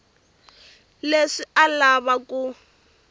leswi a a lava ku